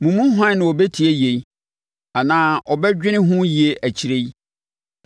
Mo mu hwan na ɔbɛtie yei anaa ɔbɛdwene ho yie akyire yi?